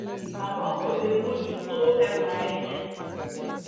àmọ́ kò lè mójú tó ẹwà ẹ̀ yẹn